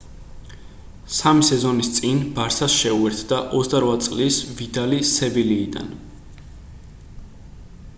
სამი სეზონის წინ ბარსას შეუერთდა 28 წლის ვიდალი სევილიიდან